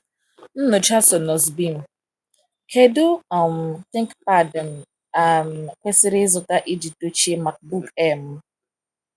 Nyocha Sonos Beam: Kedu um ThinkPad m um kwesịrị ịzụta iji dochie MacBook Air m?